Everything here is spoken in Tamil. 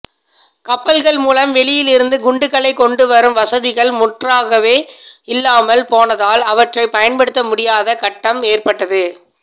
கப்பலகள் மூலம் வெளியிலிருந்து குண்டுகளை கொண்டுவரும் வசதிகள் முற்றாகவே இல்லாமல் போனதால் அவற்றைப் பயன்படுத்த முடியாத கட்டம் ஏற்பட்டது